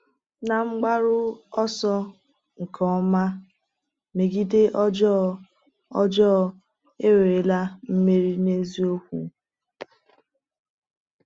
N’mgbaru ọsọ nke ọma megide ọjọọ, ọjọọ ewerela mmeri n’eziokwu?